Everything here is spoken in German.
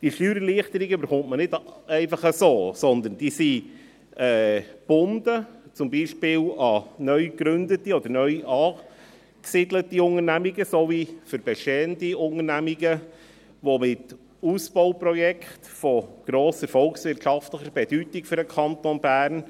Diese Steuererleichterungen erhält man nicht einfach so, sondern diese sind gebunden, zum Beispiel an neugegründete oder neuangesiedelte Unternehmungen sowie für bestehende Unternehmungen mit Ausbauprojekten von grosser volkswirtschaftlicher Bedeutung für den Kanton Bern.